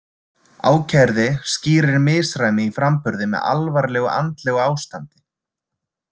Ákærði skýrir misræmi í framburði með alvarlegu andlegu ástandi.